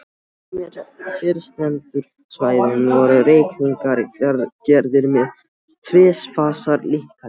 Á tveimur fyrstnefndu svæðunum voru reikningarnir gerðir með tvífasa líkani.